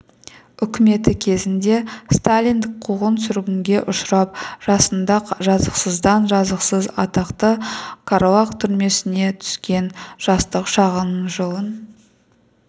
үкіметі кезінде сталиндік қуғын-сүргінге ұшырап жасында жазықсыздан жазықсыз атақты қарлаг түрмесіне түскен жастық шағының жылын